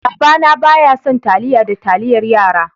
Baba na bayasan taliya da taliyar yara.